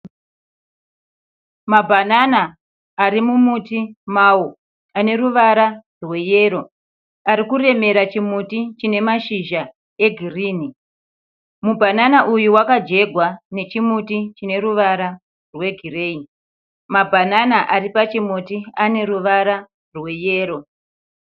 Mabhanana ari mumuti mawo ane ruvara rweyero. Ari kuremera chimuti chine mashizha egirini. Mubhanana uyu wakajegwa nechimuti chine ruvara rwegireyi. Mabhanana ari pachimuti ane ruvara rweyero.